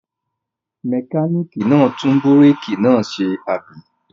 Mẹkáníkì náà tún búrékì náà ṣe, àbí?